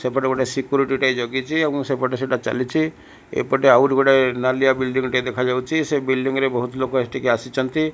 ସେପଟେ ଗୋଟେ ସେକୁରିଟୀ ଟେ ଜଗିଛି ଏବଂ ସେପଟେ ସେଟା ଚାଲିଛି ଏପଟେ ଆଉଗୋଟେ ନାଲିଆ ବିଲ୍ଡିଂ ଟେ ଦେଖାଯାଉଛି ସେଇ ବିଲ୍ଡିଁ ରେ ବହୁତ୍ ଲୋକ ଏଠିକି ଆସିଛନ୍ତି।